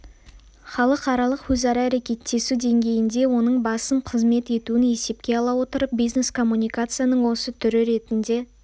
халықаралық өзара әрекеттесу деңгейінде оның басым қызмет етуін есепке ала отырып бизнес коммуникацияның осы түрі ретінде